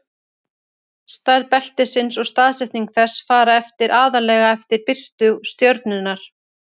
stærð beltisins og staðsetning þess fara eftir aðallega eftir birtu stjörnunnar